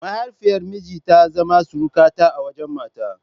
Mahaifiyar miji ta zama surukata a wajen mata.